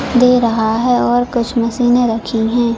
दे रहा है और कुछ मशीने रखी है।